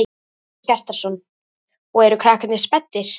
Hjörtur Hjartarson: Og eru krakkarnir spenntir?